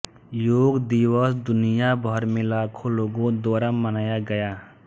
योग दिवस दुनिया भर में लाखों लोगों द्वारा मनाया गया